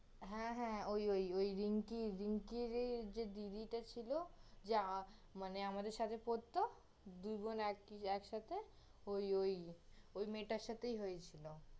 হ্যাঁ, হ্যাঁ, ওই, ওই, ওই রিঙ্কি, রিঙ্কির এই যে দিদিটা ছিল যে~ মানে আমাদের সাথে পড়ত, দুইবোন আ~ একসাথে, ওই ওই, ওই মেয়েটার সাথেই হয়েছিল